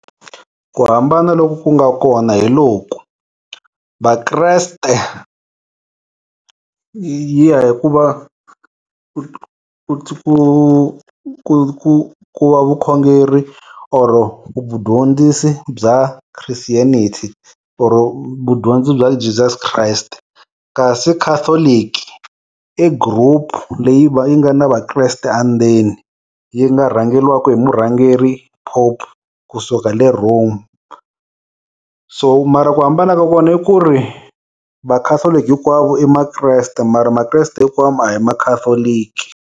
Ku hambana loku ku nga kona hi loku, vakreste yi ya hi ku va, ku ku ku ku ku va vukhongeri or ku vudyondzisi bya Christianity oro vudyondzi bya Jesus Christ. Kasi catholic i group leyi yi nga na vakreste andzeni. Yi nga rhangeriwaka hi murhangeri, pope kusuka le Rome. So mara ku hambana ka kona i ku ri, va-Catholic hinkwavo i makreste mara makreste hinkwavo a hi ma-Catholic.